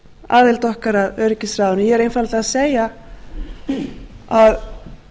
aðild okkar að öryggisráðinu ég er einfaldlega að segja að